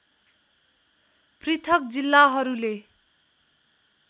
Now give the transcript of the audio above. पृथक जिल्लाहरूले